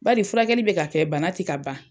Bari furakɛli bɛ ka kɛ bana ti ka ban.